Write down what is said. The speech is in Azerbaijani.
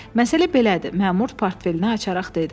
Məsələ belədir, məmur portfelini açaraq dedi.